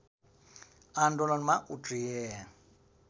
आन्दोलनमा उत्रिए